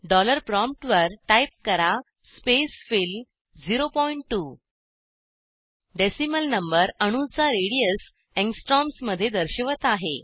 dollar प्रॉमप्टवर type करा spacefill 02 decimal number अणूचा रेडियस अँगस्ट्रॉम्स मध्ये दर्शवत आहे